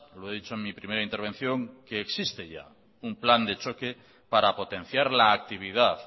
lo he dicho en mi primera intervención que existe ya un plan de choque para potenciar la actividad